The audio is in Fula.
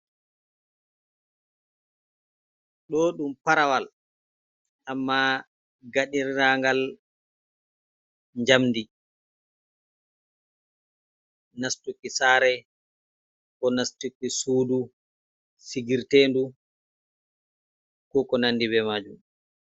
Ɗo ɗum parawal amma gaɗirangal njamdi nastuki sare, ko nastiki sudu, sigirtendu, ko ko nandi be majum.